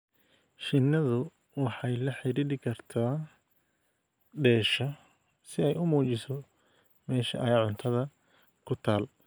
Shinnidu waxay la xidhiidhi kartaa "dheesha" si ay u muujiso meesha ay cuntada ku taal.